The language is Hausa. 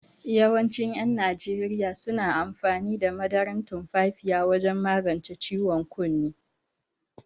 Yawancin yan arewa suna amfani da madaran tumfafiya wajan magance ciwon kunne